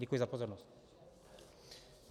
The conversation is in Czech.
Děkuji za pozornost.